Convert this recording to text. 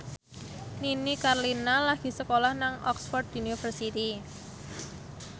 Nini Carlina lagi sekolah nang Oxford university